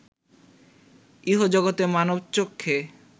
ইহজগতে মানবচক্ষে